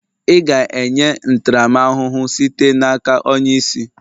Ị ga-enye ntaramahụhụ sitere n'aka onye isi